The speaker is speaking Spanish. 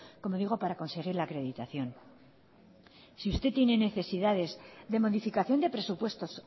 como digo para conseguir la acreditación si usted tiene necesidades de modificación de presupuestos